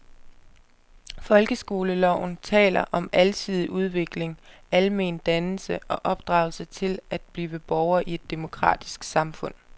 Folkeskoleloven taler om alsidig udvikling, almen dannelse og opdragelse til at blive borger i et demokratisk samfund.